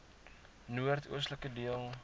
noord oostelike deel